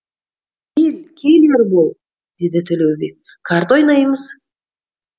кел кел ербол деді төлеубек карта ойнаймыз